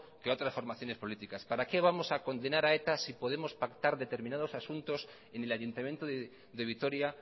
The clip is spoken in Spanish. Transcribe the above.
que a otras formaciones políticas para qué vamos a condenar a eta si podemos pactar determinados asuntos en el ayuntamiento de vitoria